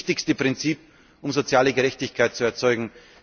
Das ist das wichtigste Prinzip, um soziale Gerechtigkeit zu erzeugen.